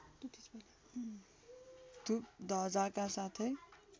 धुप धजाका साथै